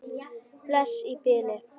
Bless í bili.